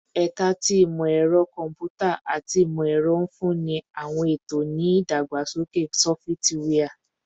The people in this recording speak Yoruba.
Ẹka ti Imọ-ẹrọ Kọmputa ati Imọ-ẹrọ nfunni awọn eto ni idagbasoke sọfitiwia